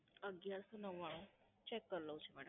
અગિયારસો નવ્વાણું, Check કરી લઉં છું મેમ.